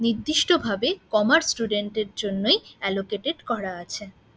নির্দিষ্টভাবে commerce student এর জন্যই অ্যালোকেটেড করা আছে।